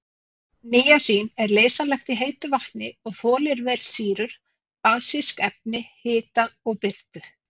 Níasín er leysanlegt í heitu vatni og þolir vel sýrur, basísk efni, hita og birtu.